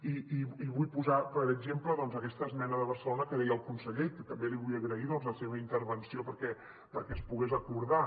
i vull posar per exemple doncs aquesta esmena de barcelona que deia el conseller i que també li vull agrair la seva intervenció perquè es pogués acordar